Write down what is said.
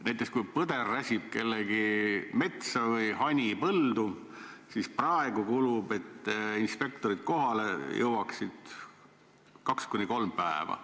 Näiteks kui põder räsib kellegi metsa või hani põldu, siis praegu kulub selleks, et inspektorid kohale jõuaksid, kaks kuni kolm päeva.